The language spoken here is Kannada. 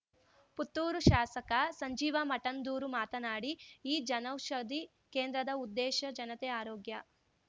ಪುತ್ತೂರು ಶಾಸಕ ಸಂಜೀವ ಮಠಂದೂರು ಮಾತನಾಡಿ ಈ ಜನೌಷಧಿ ಕೇಂದ್ರದ ಉದ್ದೇಶ ಜನತೆ ಆರೋಗ್ಯ